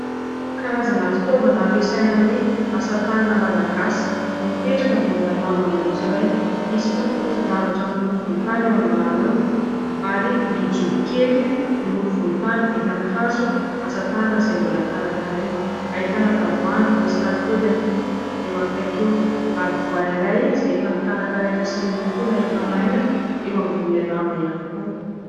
Karazana fitaovana ampiasaina amin'ny asa tanana malagasy, mipetraka ambonina lamba maitso iray. Misy potipoti-javatra miloko volontany eo ambany eo ary vilia jobo kely miloko volontany vita amin'ny hazo, asa tanana izay mbola karakaraina. Ahitana tavoahangy misy lakôly ihany koa eo akaiky eo ary voay iray izay efa nokarakaraina sy nolokoina efa maina, eo ambonin'ilay lamba ihany koa.